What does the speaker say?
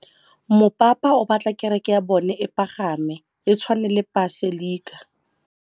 Mopapa o batla kereke ya bone e pagame, e tshwane le paselika.